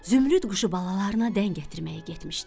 Zümrüd quşu balalarına dən gətirməyə getmişdi.